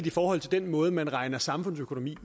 i forhold til den måde man beregner samfundsøkonomi